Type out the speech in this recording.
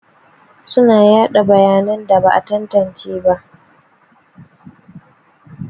Suna yaɗa bayanan da ba a tantance ba.